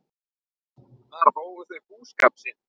Þar hófu þau búskap sinn.